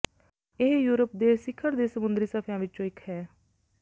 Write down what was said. ਇਹ ਯੂਰਪ ਦੇ ਸਿਖਰ ਦੇ ਸਮੁੰਦਰੀ ਸਫ਼ਿਆਂ ਵਿੱਚੋਂ ਇੱਕ ਹੈ